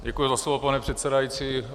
Děkuji za slovo, pane předsedající.